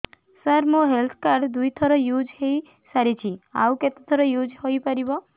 ସାର ମୋ health card ଦୁଇ ଥର ୟୁଜ଼ ହୈ ସାରିଛି ଆଉ କେତେ ଥର ୟୁଜ଼ ହୈ ପାରିବ